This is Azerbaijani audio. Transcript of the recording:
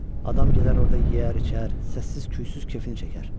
Adam gedər orda yeyər, içər, səssiz, küysüz kefini çəkər.